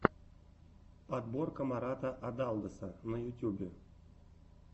подборка марата адалдоса на ютьюбе